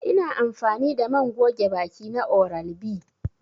I na amfani da man goge baki na oral B.